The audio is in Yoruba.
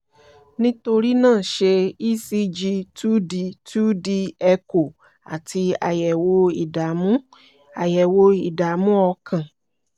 nítorí náà ṣe e-c-g two-d two-d echo àti àyẹ̀wò ìdààmú àyẹ̀wò ìdààmú ọkàn